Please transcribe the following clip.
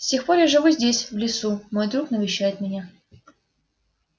с тех пор я живу здесь в лесу мой друг навещает меня